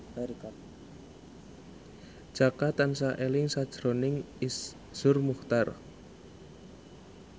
Jaka tansah eling sakjroning Iszur Muchtar